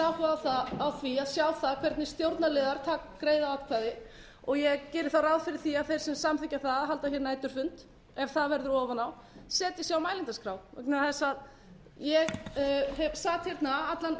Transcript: áhuga á því að sjá hvernig stjórnarliðar greiða atkvæði og ég geri þá ráð fyrir því að þeir sem samþykkja það að halda næturfund ef það verður ofan á setji sig á mælendaskrá vegna þess að ég sat hérna allan